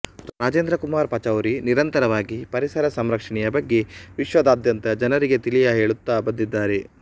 ರಾಜೇಂದ್ರಕುಮಾರ್ ಪಚೌರಿ ನಿರಂತರವಾಗಿ ಪರಿಸರ ಸಂರಕ್ಷಣೆಯಬಗ್ಗೆ ವಿಶ್ವದಾದ್ಯಂತ ಜನರಿಗೆ ತಿಳಿಯಹೇಳುತ್ತಾ ಬಂದಿದ್ದಾರೆ